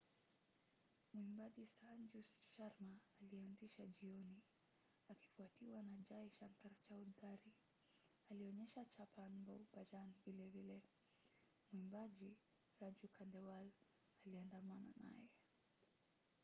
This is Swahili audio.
mwimbaji sanju sharma alianzisha jioni akifuatiwa na jai shankar chaoudhary. alionyesha chhappan bhog bhajan vilevile. mwimbaji raju khandewal aliandamana naye